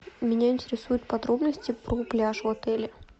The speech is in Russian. меня интересуют подробности про пляж в отеле